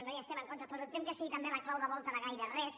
no hi estem en contra però dubtem que sigui també la clau de volta de gaire res